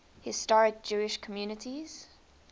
historic jewish communities